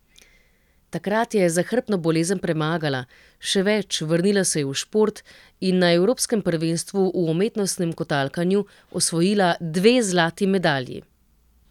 Takrat je zahrbtno bolezen premagala, še več, vrnila se je v šport in na evropskem prvenstvu v umetnostnem kotalkanju osvojila dve zlati medalji.